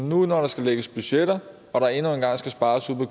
nu når der skal lægges budgetter og der endnu en gang skal spares ude på